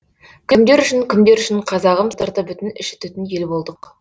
кімдер үшін кімдер үшін қазағым сырты бүтін іші түтін ел болдық